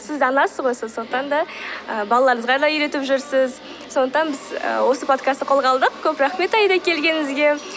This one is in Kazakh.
сіз анасыз ғой сондықтан да ыыы балаларыңызға да үйретіп жүрсіз сондықтан біз і осы подкастты қолға алдық көп рахмет аида келгеніңізге